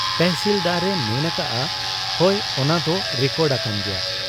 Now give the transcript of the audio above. ᱛᱮᱦᱥᱤᱞᱫᱟᱨ ᱮ ᱢᱮᱱ ᱟᱠᱟᱜ ᱟ, ᱦᱚᱭ ᱚᱱᱟ ᱫᱚ ᱨᱮᱠᱚᱰ ᱟᱠᱟᱱ ᱜᱮᱭᱟ ᱾